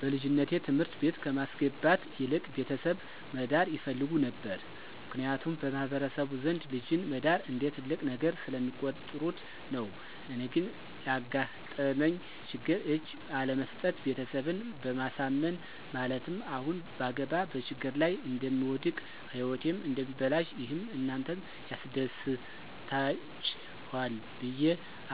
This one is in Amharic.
በልጅነቴ ትምህርት ቤት ከማስገባት ይልቅ ቤተሰብ መዳር ይፈልጉ ነበር ምክንያቱም በማህበረሰቡ ዘንድ ልጅን መዳር እንደ ትልቅ ነገር ስለሚቆጥሩት ነው። እኔ ግን ላጋጠመኝ ችግር እጅ ባለመስጠት ቤተሰብን በማሳመን ማለትም አሁን ባገባ በችግር ላይ እደምወድቅ ህይወቴም እደሚበላሽ ይህም እናንተን ያስደስታችሇል ብየ